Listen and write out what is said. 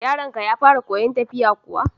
Yaron ka ya fara koyan tafiya kuwa?